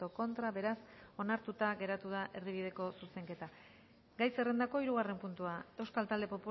contra beraz onartuta geratu da erdibideko zuzenketa gai zerrendako hirugarren puntua euskal talde